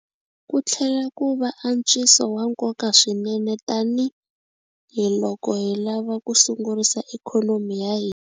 Ku tlhela ku va antswiso wa nkoka swinene tanihi loko hi lava ku sungurisa ikhonomi ya hina.